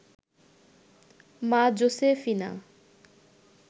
মা জোসেফিনা